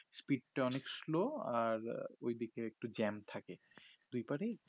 speed টা অনেক slow আর ওই দিকে একটু jam থাকে দুই পরেই